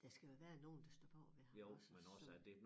Der skal jo være nogen der står bagved ham også så